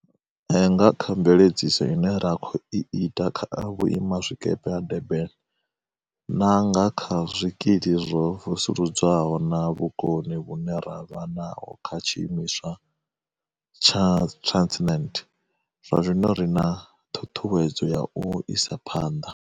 Nga kha mveledziso ine ra khou i ita kha vhuimazwikepe ha Durban, na nga kha zwikili zwo vusuludzwaho na vhukoni vhune ra vha naho kha tshiimiswa tsha Transet, zwazwino ri na ṱhuṱhuwedzo ya u isa phanḓa.